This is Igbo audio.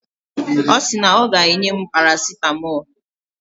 Ọ sị na o ga-enye m parasitamọlụ.